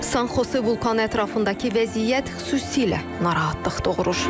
Sankhose vulkanı ətrafındakı vəziyyət xüsusilə narahatlıq doğurur.